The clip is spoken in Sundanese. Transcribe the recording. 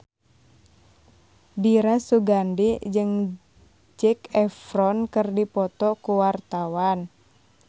Dira Sugandi jeung Zac Efron keur dipoto ku wartawan